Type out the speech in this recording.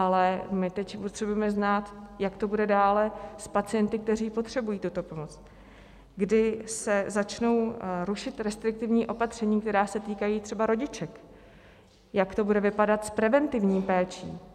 Ale my teď potřebujeme znát, jak to bude dále s pacienty, kteří potřebují tuto pomoc, kdy se začnou rušit restriktivní opatření, která se týkají třeba rodiček, jak to bude vypadat s preventivní péčí.